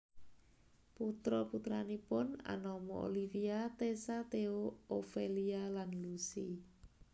Putra putranipun anama Olivia Tessa Theo Ophelia lan Lucy